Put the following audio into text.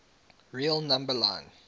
real number line